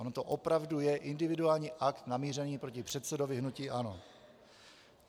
On to opravdu je individuální akt namířený proti předsedovi hnutí ANO.